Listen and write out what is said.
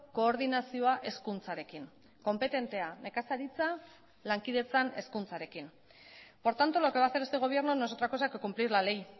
koordinazioa hezkuntzarekin konpetentea nekazaritza lankidetzan hezkuntzarekin por tanto lo que va a hacer este gobierno no es otra cosa que cumplir la ley